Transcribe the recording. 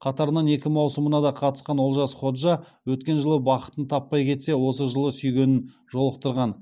қатарынан екі маусымына да қатысқан олжас ходжа өткен жылы бақытын таппай кетсе осы жылы сүйгенін жолықтырған